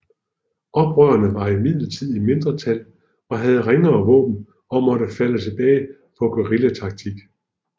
Oprørerne var imidlertid i mindretal og havde ringere våben og måtte falde tilbage på guerillataktik